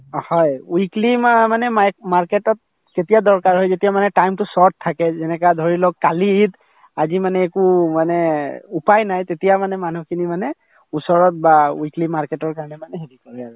অ, হয় weekly মানে মা market তত কেতিয়া দৰকাৰ হয় যেতিয়া মানে time তো short থাকে যেনেকা ধৰি লওক কালি ঈদ আজি মানে একো মানে উপাই নাই তেতিয়া মানে মানুহখিনি মানে ওচৰত বা weekly market তৰ কাৰণে মানে হেৰি কৰে আৰু